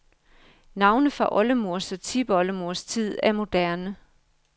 Navne fra oldemors og tipoldemors tid er moderne.